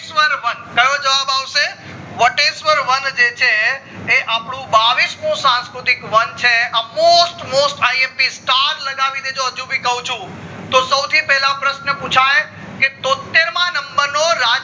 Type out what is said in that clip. વટેશ્વર વન કયો જવાબ આવશે વટેશ્વર વન જે છે એ અપ્ડું બાવીશ મુ સંસ્કૃતિક વન છે આ most most most imp star લગાવી દેજો હજુ ભી કું છુ તો સૌથી પેલા પ્રશ્ન પુછાય કે તોત્તેર માં number નો